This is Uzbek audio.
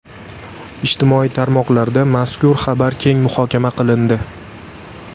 Ijtimoiy tarmoqlarda mazkur xabar keng muhokama qilindi.